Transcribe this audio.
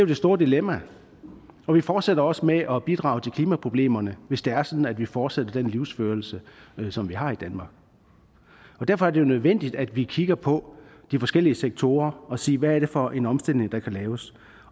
det store dilemma og vi fortsætter også med at bidrage til klimaproblemerne hvis det er sådan at vi fortsætter den livsførelse som vi har i danmark derfor er det jo nødvendigt at vi kigger på de forskellige sektorer og siger hvad er det for en omstilling der kan laves